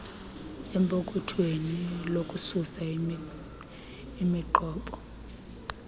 empokothweni lokususa imiqobo